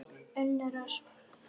Unnur Ösp.